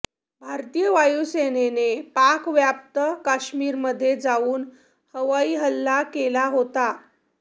भारतीय वायुसेनेनं पाकव्याप्त काश्मीरमध्ये जाऊन हवाई हल्ला केला होता